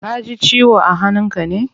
Kaji ciwo a hannun ka ne?